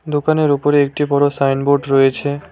দোকানের ওপরে একটি বড় সাইনবোর্ড রয়েছে।